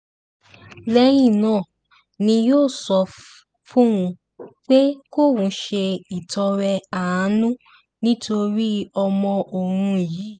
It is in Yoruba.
lẹ́yìn náà ni yóò sọ fóun pé kóun ṣe ìtọrẹ àánú nítorí ọmọ òun yìí